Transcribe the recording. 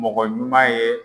Mɔgɔ ɲuman ye